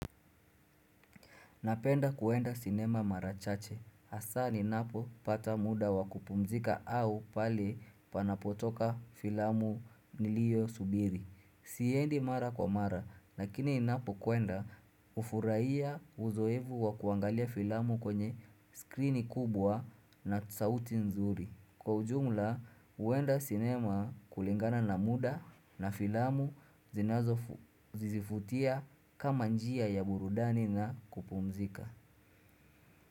Napenda kuenda sinema marachache, hasa ninapo pata muda wakupumzika au pale panapotoka filamu nilio subiri. Siendi mara kwa mara, lakini ninapo kuenda ufuraiya uzoevu wa kuangalia filamu kwenye skrini kubwa na tsauti nzuri. Kwa ujumla uwenda sinema kulingana na muda na filamu zizifutia kama njia ya burudani na kupumzika.